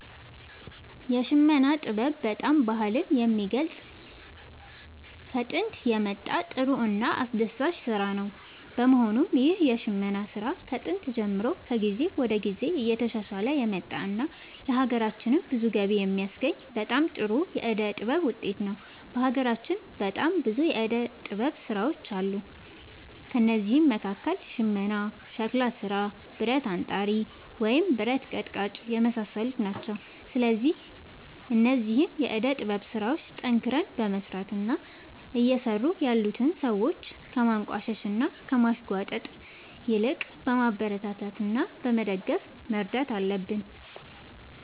የሽመና ጥበብ በጣም ባህልን የሚገልፅ ከጦንት የመጣ ጥሩ እና አስደሳች ስራ ነው በመሆኑም ይህ የሽመና ስራ ከጥንት ጀምሮ ከጊዜ ወደ ጊዜ እየተሻሻለ የመጣ እና ለሀገራችንም ብዙ ገቢ የሚያስገኝ በጣም ጥሩ የዕደ ጥበብ ውጤት ነው። በሀገራችን በጣም ብዙ የዕደ ጥበብ ስራዎች ይገኛሉ ከእነዚህም መካከል ሽመና ሸክላ ስራ ብረት አንጣሪ ወይም ብረት ቀጥቃጭ የመሳሰሉት ናቸው። ስለዚህ እነዚህን የዕደ ጥበብ ስራዎች ጠንክረን በመስራት እና እየሰሩ ያሉትን ሰዎች ከማንቋሸሽ እና ከማሽሟጠጥ ይልቅ በማበረታታት እና በመደገፍ መርዳት አለብን